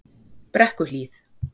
Brekkuhlíð